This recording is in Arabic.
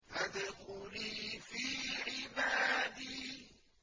فَادْخُلِي فِي عِبَادِي